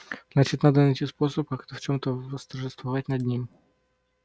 значит надо найти способ как-то в чём-то восторжествовать над ним